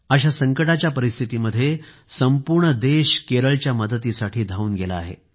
अशा संकटाच्या परिस्थितीमध्ये संपूर्ण देश केरळच्या मदतीसाठी धाऊन गेला आहे